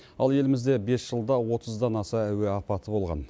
ал елімізде бес жылда отыздан аса әуе апаты болған